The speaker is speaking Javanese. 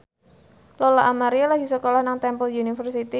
Lola Amaria lagi sekolah nang Temple University